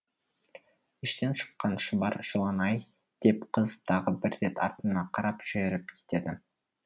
іштен шыққан шұбар жылан ай деп қыз тағы бір рет артына қарап жүріп кетеді